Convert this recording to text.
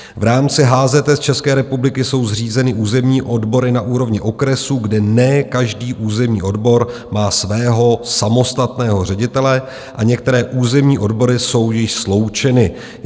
V rámci HZS České republiky jsou zřízeny územní odbory na úrovni okresu, kde ne každý územní odbor má svého samostatného ředitele, a některé územní odbory jsou již sloučeny.